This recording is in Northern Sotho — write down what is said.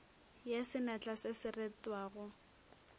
ya senatla se se retwago